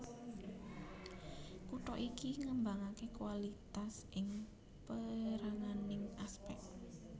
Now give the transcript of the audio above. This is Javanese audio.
Kutha iki ngembangaké kualitas ing péranganing aspek